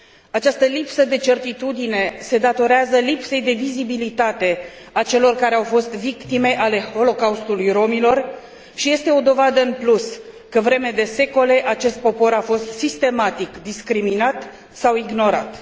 Această lipsă de certitudine se datorează lipsei de vizibilitate a celor care au fost victime ale Holocaustului romilor și este o dovadă în plus că, vreme de secole, acest popor a fost sistematic discriminat sau ignorat.